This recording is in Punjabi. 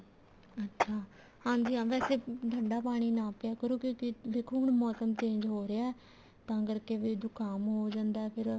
ਅੱਛਾ ਹਾਂਜੀ ਹਾਂ ਵੈਸੇ ਠੰਡਾ ਪਾਣੀ ਨਾ ਪਿਆ ਕਰੋ ਕਿਉਂਕਿ ਦੇਖੋ ਹੁਣ ਮੋਸਮ change ਹੋ ਰਿਹਾ ਤਾਂ ਕਰਕੇ ਫ਼ੇਰ ਜੁਕਾਮ ਹੋ ਜਾਂਦਾ ਫ਼ੇਰ